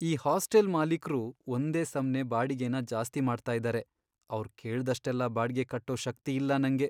ಈ ಹಾಸ್ಟೆಲ್ ಮಾಲೀಕ್ರು ಒಂದೇ ಸಮ್ನೇ ಬಾಡಿಗೆನ ಜಾಸ್ತಿ ಮಾಡ್ತಾ ಇದಾರೆ, ಅವ್ರ್ ಕೇಳ್ದಷ್ಟೆಲ್ಲ ಬಾಡ್ಗೆ ಕಟ್ಟೋ ಶಕ್ತಿ ಇಲ್ಲ ನಂಗೆ.